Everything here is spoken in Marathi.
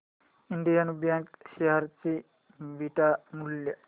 इंडियन बँक शेअर चे बीटा मूल्य